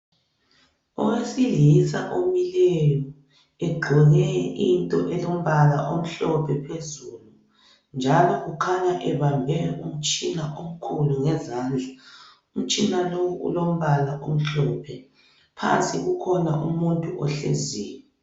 Owesilisa omileyo egqoke into elombala omhlophe phezulu njalo kukhanya ebambe umtshina omkhulu ngezandla umtshina lowu ulombala omhlophe phansi kukhona umuntu ohleziyo.